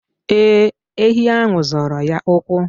Ee, enyi ahụ zọrọ ya ụkwụ.